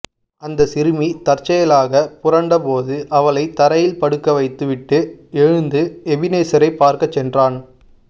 அந்தச் சிறுமி தற்செயலாகப் புரண்ட போது அவளைத் தரையில் படுக்க வைத்துவிட்டு எழுந்து எபினேசரை பார்க்கச் சென்றான